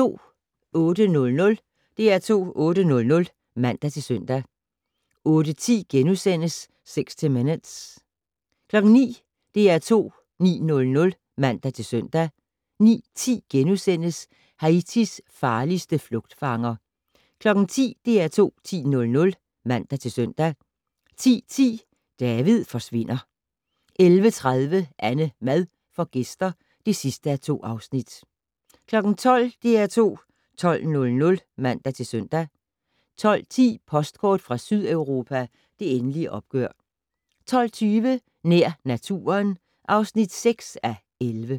08:00: DR2 8:00 (man-søn) 08:10: 60 Minutes * 09:00: DR2 9:00 (man-søn) 09:10: Haitis farligste flugtfanger * 10:00: DR2 10:00 (man-søn) 10:10: David forsvinder 11:30: AnneMad får gæster (2:2) 12:00: DR2 12:00 (man-søn) 12:10: Postkort fra Sydeuropa: Det endelige opgør 12:20: Nær naturen (6:11)